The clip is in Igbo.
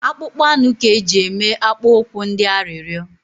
Akpụkpọ anụ ka eji eme akpụ ụkwụ ndị arịrịo